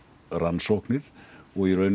rannsóknir og í rauninni